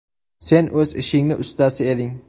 Sen o‘z ishingning ustasi eding.